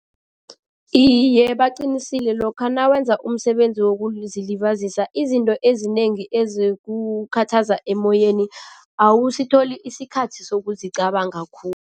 Iye, baqinisile. Lokha nawenza umsebenzi wokuzilibazisa, izinto ezinengi ezikukhuthaza emoyeni awusitholi isikhathi sokuzicabanga